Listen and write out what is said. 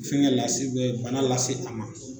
Fɛnkɛ lase bana lase a ma.